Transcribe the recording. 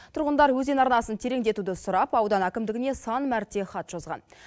тұрғындар өзен арнасын тереңдетуді сұрап аудан әкімдігіне сан мәрте хат жазған